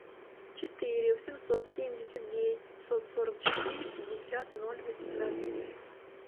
четыре восемьсот семьдесят девять пятьсот сорок четыре пятьдесят ноль восемнадцать